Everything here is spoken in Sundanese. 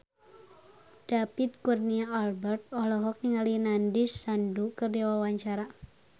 David Kurnia Albert olohok ningali Nandish Sandhu keur diwawancara